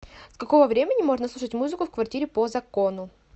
с какого времени можно слушать музыку в квартире по закону